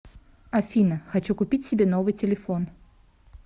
афина хочу купить себе новый телефон